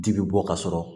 Ji bɛ bɔ ka sɔrɔ